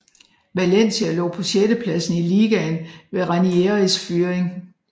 Valencia lå på sjettepladsen i ligaen ved Ranieris fyring